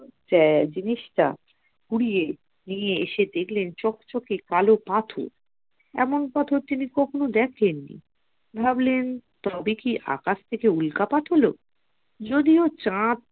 হ্যাঁ জিনিসটা কুড়িয়ে নিয়ে এসে দেখলেন চকচকে কালো পাথর এমন পাথর তিনি কখনো দেখেননি ভাবলেন তবে কি আকাশ থেকে উল্কাপাত হল যদিও চাঁদ